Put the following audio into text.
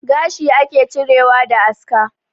Gashi ake cirewa da aska